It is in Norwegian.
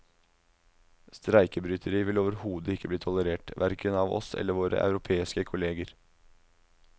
Streikebryteri vil overhodet ikke bli tolerert, hverken av oss eller våre europeiske kolleger.